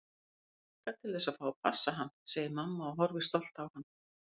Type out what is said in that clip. Ég hlakka til að fá að passa hann, segir mamma og horfir stolt á hann.